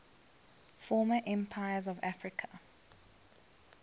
former empires of africa